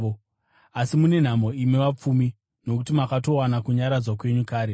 “Asi mune nhamo imi vapfumi, nokuti makatowana kunyaradzwa kwenyu kare.